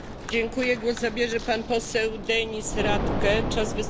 Frau Präsidentin, sehr geehrte Herren Vizepräsidenten!